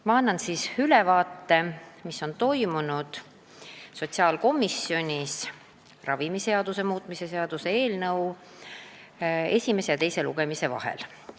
Ma annan ülevaate, mis on toimunud sotsiaalkomisjonis ravimiseaduse muutmise seaduse eelnõu esimese ja teise lugemise vahel.